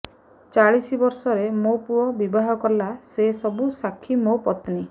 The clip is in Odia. ଚାଳିଶି ବର୍ଷରେ ମୋ ପୁଅ ବିବାହ କଲା ସେ ସବୁ ସାକ୍ଷୀ ମୋ ପତ୍ନୀ